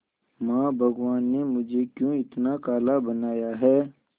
मां भगवान ने मुझे क्यों इतना काला बनाया है